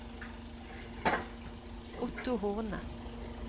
Otto Horne